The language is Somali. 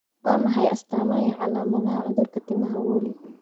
Waa maxay astamaha iyo calaamadaha cudurka timaha Woolly?